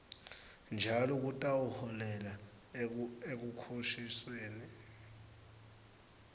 njalo kutawuholela ekukhokhisweni